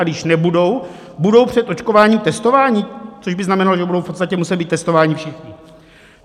A když nebudou, budou před očkováním testováni, což by znamenalo, že budou v podstatě muset být testováni všichni?